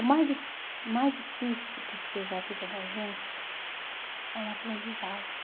O mais di o mais difícil que seja a vida da gente é um aprendizado.